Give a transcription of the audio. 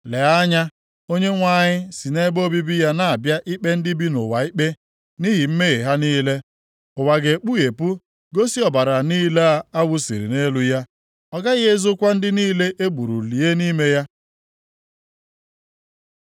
Lee anya! Onyenwe anyị si nʼebe obibi ya na-abịa ikpe ndị bi nʼụwa ikpe nʼihi mmehie ha niile. Ụwa ga-ekpughepụ gosi ọbara niile a wụsiri nʼelu ya, ọ gaghị ezokwa ndị niile e gburu lie nʼime ya.